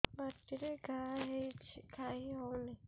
ପାଟିରେ ଘା ହେଇଛି ଖାଇ ହଉନି